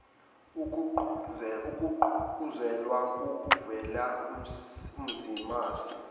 ogqugquzelwe ngokuvelele umzimasi